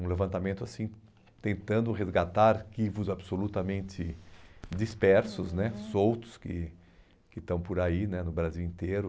Um levantamento assim tentando resgatar arquivos absolutamente dispersos né, uhum, soltos, que que estão por aí no Brasil inteiro.